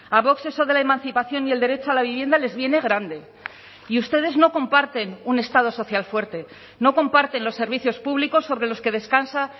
a vox eso de la emancipación y el derecho a la vivienda les viene grande y ustedes no comparten un estado social fuerte no comparten los servicios públicos sobre los que descansa